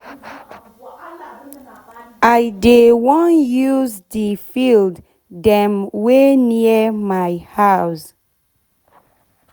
i dey wan use de field dem wey near my house